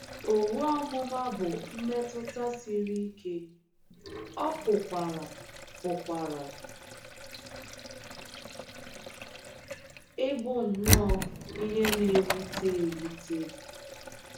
Owu ọmụma bụ mmetụta siri ike, ọ pụkwara pụkwara ịbụ nnọọ ihe na - ewute ewute.